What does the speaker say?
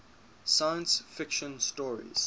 science fiction stories